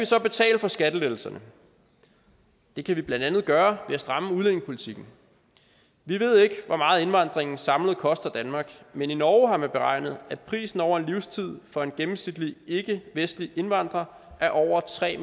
så betale for skattelettelserne det kan vi blandt andet gøre ved at stramme udlændingepolitikken vi ved ikke hvor meget indvandringen samlet koster danmark men i norge har man beregnet at prisen over en livstid for en gennemsnitlig ikkevestlig indvandrer er over tre